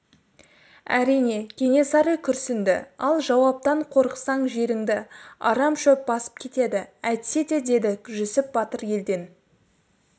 әрине кенесары күрсінді ал жауаптан қорықсаң жеріңді арам шөп басып кетеді әйтседе деді жүсіп батыр елден